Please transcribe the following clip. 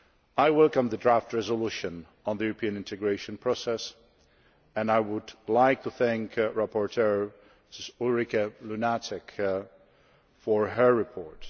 I welcome the draft resolution on the European integration process and I would like to thank the rapporteur, Ms Ulrike Lunacek, for her report.